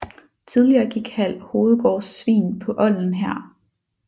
Tidligere gik Hald Hovedgårds svin på olden her